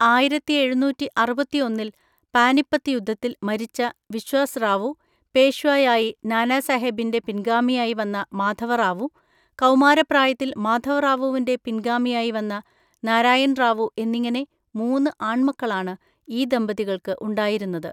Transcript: ആയിരത്തിഎഴുന്നൂറ്റിഅറുപത്തിഒന്നിൽ പാനിപ്പത്ത് യുദ്ധത്തിൽ മരിച്ച വിശ്വാസ് റാവു, പേഷ്വായായി നാനാസാഹേബിൻ്റെ പിൻഗാമിയായി വന്ന മാധവറാവു, കൗമാരപ്രായത്തിൽ മാധവറാവുവിൻ്റെ പിൻഗാമിയായി വന്ന നാരായൺറാവു എന്നിങ്ങനെ മൂന്ന് ആൺമക്കളാണ് ഈ ദമ്പതികൾക്ക് ഉണ്ടായിരുന്നത്.